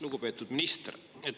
Lugupeetud minister!